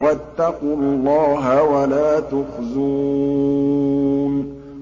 وَاتَّقُوا اللَّهَ وَلَا تُخْزُونِ